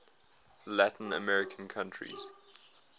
latin american countries